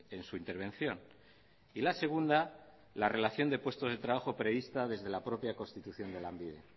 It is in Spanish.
en su intervención y la segunda la relación de puestos de trabajo prevista desde la propia constitución de lanbide